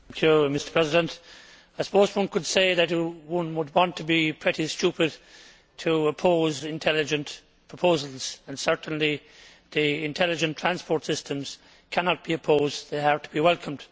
Mr President, I suppose one could say that one would want to be pretty stupid to oppose intelligent proposals. Certainly, the Intelligent Transport Systems cannot be opposed they are to be welcomed.